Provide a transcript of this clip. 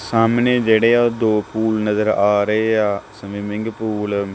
ਸਾਹਮਣੇ ਜਿਹੜੇ ਆ ਉਹ ਦੋ ਪੂਲ ਨਜ਼ਰ ਆ ਰਹੇ ਆ ਸਵੀਮਿੰਗ ਪੂਲ --